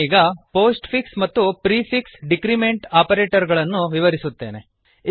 ನಾನೀಗ postfix ಮತ್ತು prefix decrement operator ಗಳನ್ನು ವಿವರಿಸುತ್ತೇನೆ